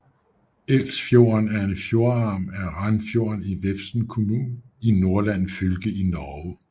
Elsfjorden er en fjordarm af Ranfjorden i Vefsn kommune i Nordland fylke i Norge